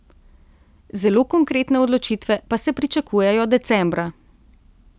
Zelo konkretne odločitve pa se pričakujejo decembra.